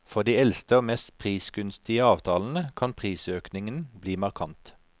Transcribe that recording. For de eldste og mest prisgunstige avtalene kan prisøkningen bli markant.